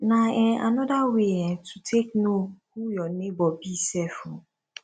na um anoda way um to take no who yur neibor be sef um